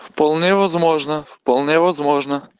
вполне возможно вполне возможно